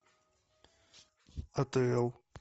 атл